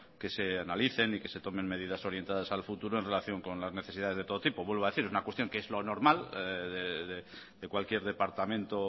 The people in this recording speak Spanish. que se analicen y que se tomen medidas orientadas al futuro en relación con las necesidades de todo tipo vuelvo a decir es una cuestión que es lo normal de cualquier departamento